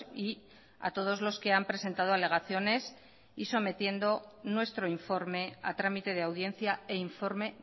y a todos los que han presentado alegaciones y sometiendo nuestro informe a tramite de audiencia e informe